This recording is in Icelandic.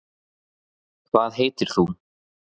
hvað heitir þú